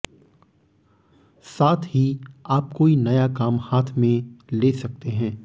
साथ ही आप कोई नया काम हाथ में ले सकते हैं